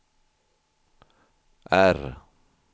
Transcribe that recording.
R